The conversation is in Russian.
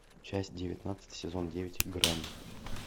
часть девятнадцать сезон девять грани